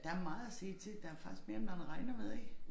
Der meget at se til der faktisk mere end man regner med ik